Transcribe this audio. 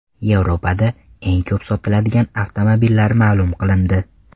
Yevropada eng ko‘p sotiladigan avtomobillar ma’lum qilindi.